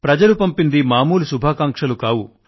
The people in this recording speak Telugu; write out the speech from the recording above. ప్రజలు పంపింది మామూలు శుభాకాంక్షలు కావు